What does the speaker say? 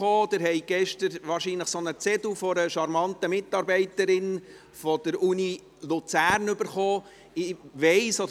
Sie haben gestern wahrscheinlich einen Zettel einer charmanten Mitarbeiterin der Universität Luzern erhalten.